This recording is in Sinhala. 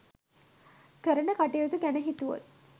කරන කටයුතු ගැන හිතුවොත්.